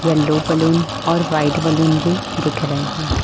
Yellow balloon और white balloon भी दिख रहे हैं।